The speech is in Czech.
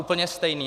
Úplně stejný.